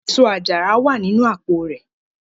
Eso-ajara wa ninu apo rẹ